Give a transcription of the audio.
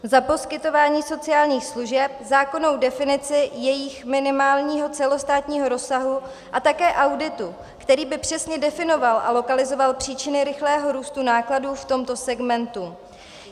- za poskytování sociálních služeb, zákonnou definici jejich minimálního celostátního rozsahu a také auditu, který by přesně definoval a lokalizoval příčiny rychlého růstu nákladů v tomto segmentu.